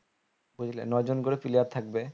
বুঝলে ন জন করে player থাকবে